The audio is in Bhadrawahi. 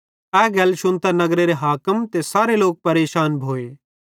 ए गल शुन्तां नगरेरे हाकिम ते सारे लोक परेशान भोए